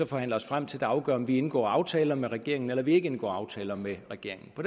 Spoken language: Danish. forhandler os frem til der afgør om vi indgår aftaler med regeringen eller vi ikke indgår aftaler med regeringen på